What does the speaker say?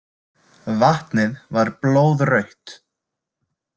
Vatnið var blóðrautt.